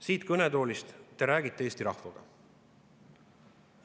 Siit kõnetoolist te räägite Eesti rahvaga.